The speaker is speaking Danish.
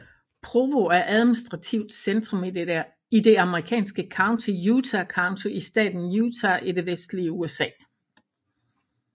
Provo er administrativt centrum i det amerikanske county Utah County i staten Utah i det vestlige USA